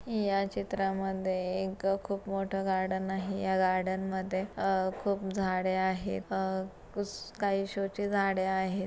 या चित्रा मध्ये एक खूप मोठं गार्डन आहे या गार्डन मध्ये अह खूप झाडे आहे अह काही शो चे झाडे आहे.